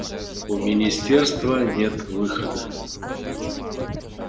у министерства нет выхода